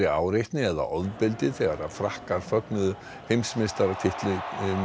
áreitni eða ofbeldi þegar Frakkar fögnuðu heimsmeistaratitlinum